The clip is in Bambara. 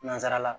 Nansara la